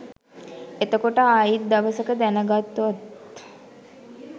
එතකොට ආයිත් දවසක දැනගත්තොත්